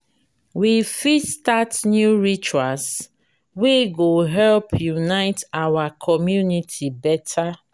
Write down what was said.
we fit start new rituals wey go help unite our community beta.